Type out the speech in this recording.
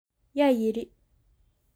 Yaa yiri